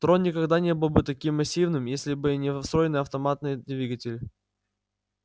трон никогда не был бы таким массивным если бы не встроенный автоматный двигатель